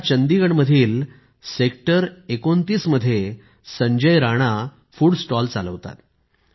या चंदिगडमधील सेक्टर 29 मध्ये संजय राणा फुड स्टॉल चालवतात